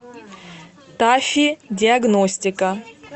тафи диагностика